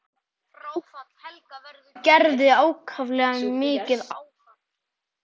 Fráfall Helga verður Gerði ákaflega mikið áfall.